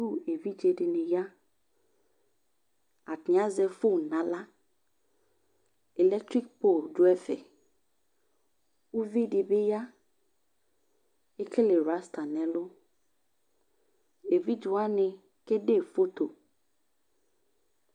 Suku evidze de ne ya Atane azɛ fon nahla ilɛktrik pol do ɛfɛ Uvi de ba ya, ekele wrasta nɛlu Evidze wane kede ye foto